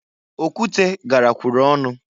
Okwute garakwuru ọnụ.